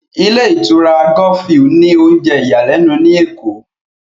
Ilé ìtura Golf view ní oúnjẹ ìyàlẹ́nu ní Èkó